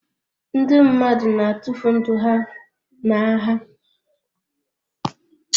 Ndị mmadụ na-atụfu ndụ ha n'agha